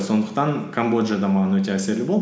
сондықтан камбоджа да маған өте әсері болды